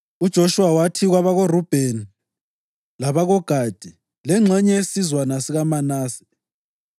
UJoshuwa wathi kwabakoRubheni, labakoGadi lengxenye yesizwana sikaManase,